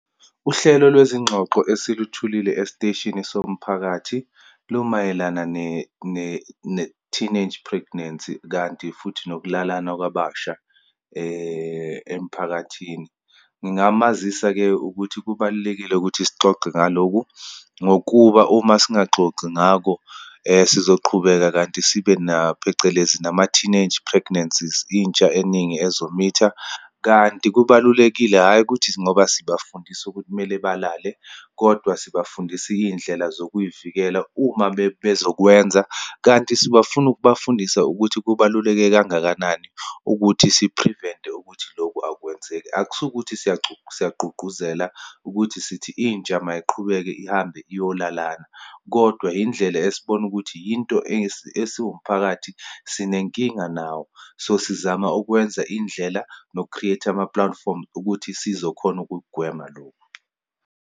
Uhlelo lwezingxoxo esilutholile esiteshini somphakathi lumayelana ne, ne, ne-teennage pregnancy, kanti futhi nokulalana kwabasha emiphakathini. Ngingamazisa-ke ukuthi kubalulekile ukuthi sixoxe ngalokhu, ngokuba uma singaxoxi ngako sizoqhubeka kanti sibe na, phecelezi nama-teenage pregnancies, intsha eningi ezomitha. Kanti kubalulekile, hhayi ukuthi ngoba sibafundisa ukuthi kumele balale, kodwa sibafundisa iyindlela zokuyivikela uma bezokwenza. Kanti sebafuna ukubafundisa ukuthi kubaluleke kangakanani ukuthi si-prevent-e ukuthi lokhu akwenzeki Akusu ukuthi siyagqugquzela, ukuthi sithi intsha mayiqhubeka ihambe iyolalana, kodwa yindlela esibona ukuthi yinto esiwumphakathi, sinenkinga nawo. So, sizama ukwenza indlela, noku-create-a amapulatifomu ukuthi sizokhona ukugwema lokhu.